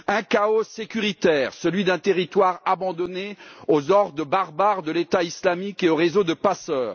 Un chaos sécuritaire, celui d'un territoire abandonné aux hordes barbares de l'État islamique et aux réseaux de passeurs.